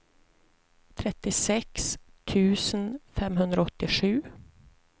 trettiosex tusen femhundraåttiosju